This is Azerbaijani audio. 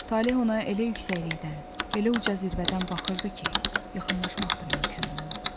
Taleh ona elə yüksəklikdən, elə uca zirvədən baxırdı ki, yaxınlaşmaq da mümkün olmurdu.